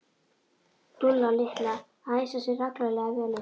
Dúlla litla að æsa sig reglulega vel upp.